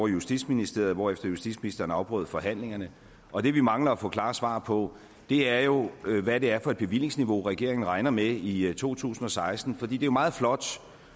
i justitsministeriet hvorefter justitsministeren afbrød forhandlingerne og det vi mangler at få klare svar på er jo hvad det er for et bevillingsniveau regeringen regner med i i to tusind og seksten for det er jo meget flot